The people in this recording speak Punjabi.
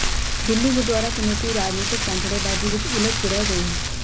ਦਿੱਲੀ ਗੁਰਦੁਆਰਾ ਕਮੇਟੀ ਰਾਜਨੀਤਕ ਪੈਂਤੜੇਬਾਜ਼ੀ ਵਿੱਚ ਉਲਝ ਕੇ ਰਹਿ ਗਈ ਹੈ